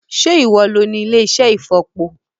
Sé ìwo lo ní ilé-iṣẹ́ ìfọ̀po?